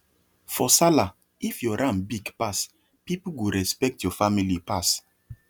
for sallah if your ram big pass people go respect your family pass